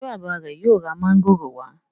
ṣe bàbá re yóò rà Mángòrò wa?